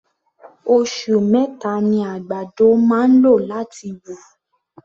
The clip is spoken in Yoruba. Osù meta ni àgbàdo máa ń lò láti wù.